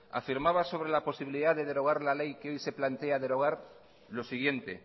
afirmaba sobre la posibilidad de derogar la ley que hoy se plantea derogar lo siguiente